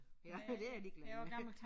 Det jeg ligeglad med